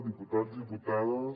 diputats diputades